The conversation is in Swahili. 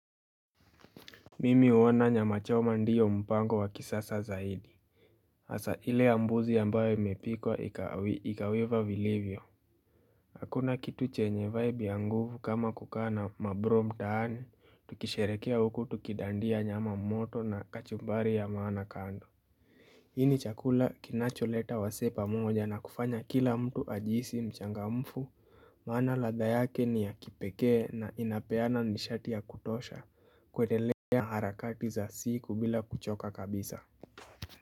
Mimi huona nyama choma ndiyo mpango wa kisasa zaidi hasa ile ya mbuzi ambayo imepika ikaiva vilivyo Hakuna kitu chenye vibe ya nguvu kama kukaa na mabro mtaani tukisherekea huku tukidandia nyama moto na kachumbari ya maana kando Hii ni chakula kinacho leta wasee pamoja na kufanya kila mtu ajihisi mchangamfu maana ladha yake ni ya kipekee na inapeana nishati ya kutosha kwendelea harakati za siku bila kuchoka kabisa.